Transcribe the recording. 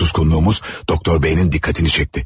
Susqunluğumuz Doktor B-nin diqqətini çəkdi.